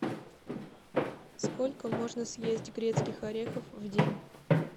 сколько можно съесть грецких орехов в день